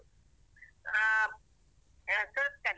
ಹ ಅಹ್ ಸುರತ್ಕಲ್.